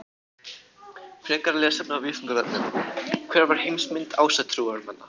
Frekara lesefni á Vísindavefnum: Hver var heimsmynd ásatrúarmanna?